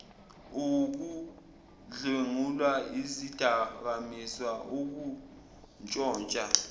ukudlwengula izidakamizwa ukuntshontsha